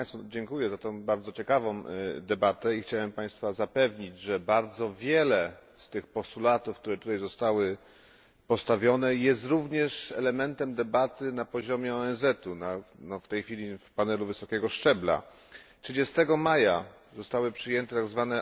Dziękuję za tę bardzo ciekawą debatę i chciałem Państwa zapewnić, że bardzo wiele z postulatów, które tutaj zostały postawione, jest również elementem debaty na poziomie ONZ, w tej chwili na panelu wysokiego szczebla. 30 maja zostały przyjęte tzw.